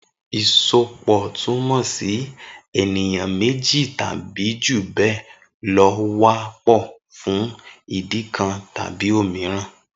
Isópọ tumọ si eniyan méjí tàbí júbẹlọ wà pọ fún ìdí nkàn tàbí òmíràn.